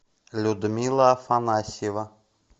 людмила афанасьева